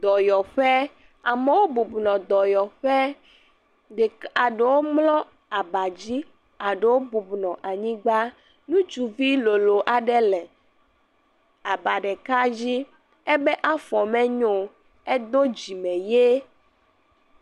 Dɔyɔƒe, amewo bubɔnɔ dɔyɔƒe ɖek' aɖewo mlɔ abadzi, eɖewo bubunɔ anyigba, ŋutsuvilolo aɖe le aba ɖeka dzi. Ebe afɔ menyoo edo dzime ye.